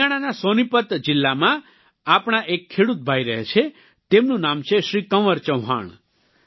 હરિયાણાના સોનિપત જિલ્લામાં આપણા એક ખેડૂત ભાઈ રહે છે તેમનું નામ છે શ્રી કંવર ચૌહાણ